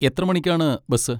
എത്ര മണിക്കാണ് ബസ്?